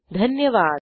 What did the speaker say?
सहभागासाठी धन्यवाद